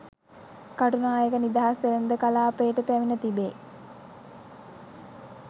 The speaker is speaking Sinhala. කටුනායක නිදහස් වෙළෙඳ කළාපයට පැමිණ තිබේ